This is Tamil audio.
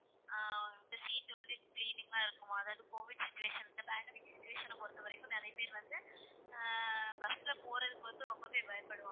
ஆஹ் இந்த seat வந்து cleaning ஆ இருக்குமாம் அதாவது covid situation இந்த pandemic situation ஐ பொறுத்தவரைக்கும் நிறைய பேர் வந்து, ஆஹ் bus ல போறதுக்கு வந்து, ரொம்பவே பயப்படுவாங்க